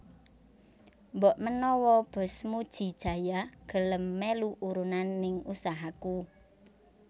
Mbok menawa bos Muji Jaya gelem melu urunan ning usahaku